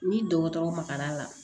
Ni dɔgɔtɔrɔ magara la